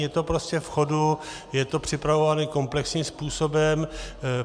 Je to prostě v chodu, je to připravováno komplexním způsobem.